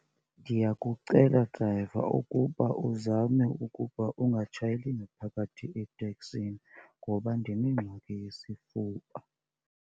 Ndiyakucela drayiva ukuba uzame ukuba ungatshayeli ngaphakathi etekisini ngoba ndinengxaki yesifuba.